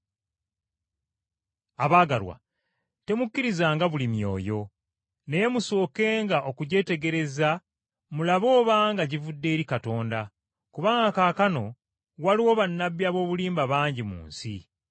Abaagalwa, temukkirizanga buli myoyo, naye musookenga okugyetegereza mulabe obanga givudde eri Katonda, kubanga kaakano waliwo bannabbi ab’obulimba bangi mu nsi.